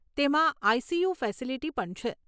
તેમાં I C U facility પણ છે.